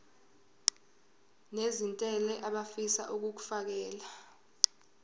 nezentela abafisa uukfakela